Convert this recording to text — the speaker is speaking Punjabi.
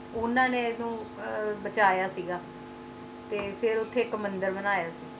ਉਨ੍ਹਾਂ ਨੇ ਇਸ ਨੂੰ ਬਚਾਅ ਸੀ ਗਏ ਤੇ ਫਿਰ ਇਥੇ ਇਕ ਮੰਦਿਰ ਬਨਾਯਾ ਸੀ